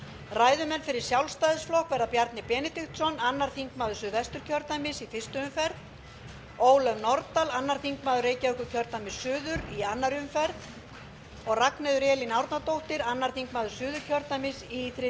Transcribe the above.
ræðumenn fyrir sjálfstæðisflokk verða bjarni benediktsson annar þingmaður suðvesturkjördæmis í fyrstu umferð ólöf nordal annar þingmaður reykjavíkurkjördæmis suður í annarri umferð og ragnheiður elín árnadóttir öðrum þingmönnum suðurkjördæmis í þriðju umferð